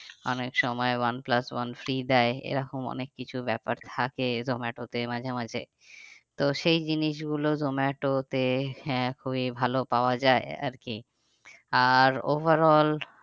অনেক সময় one plus one free দেয় এরকম অনেক কিছু ব্যাপার থাকে জোমাটোতে মাঝেমাঝে তো সেই জিনিস গুলো জোমাটোতে হ্যাঁ খুবই ভালো পাওয়া যায় আর কি আর over all